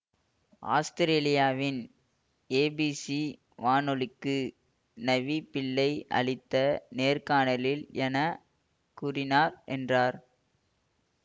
ஆத்திரேலியாவின் ABC வானொலிக்கு நவி பிள்ளை அளித்த நேர்காணலில் என கூறினார் என்றார்